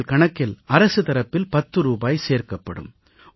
உங்கள் கணக்கில் அரசு தரப்பில் 10 ரூபாய் சேர்க்கப்படும்